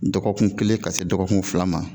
Dɔgɔkun kelen ka se dɔgɔkun fila ma